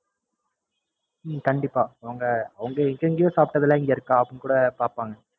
உம் கண்டிப்பா அவங்க எங்கெங்கேயோ சாப்பிடாதேல்லாம் இங்க இருக்கா அப்டினு கூட பாப்பாங்க